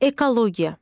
Ekologiya.